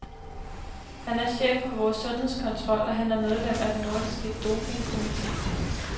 Han er chef for vores sundhedskontrol, og han er medlem af den nordiske dopingkomité.